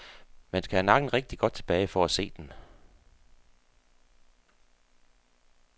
Man skal have nakken rigtig godt tilbage for at se den.